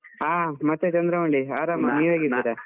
ಹಾ ಮತ್ತೆ ಚಂದ್ರಮೌಳಿ ಆರಾಮ, ನೀವ್ ಹೇಗಿದ್ದೀರಾ?